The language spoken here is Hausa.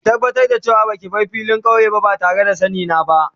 Ki tabatar da ce wa ba ki bar filin kauye ba tare da sanni na ba.